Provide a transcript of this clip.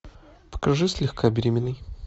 покажи слегка беременный